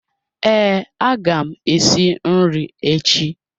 Ee aga m esi nri echi